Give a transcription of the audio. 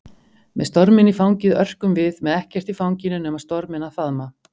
Með storminn í fangið örkum við, með ekkert í fanginu nema storminn að faðma.